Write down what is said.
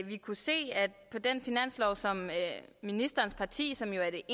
vi kunne se at på den finanslov som ministerens parti som jo er det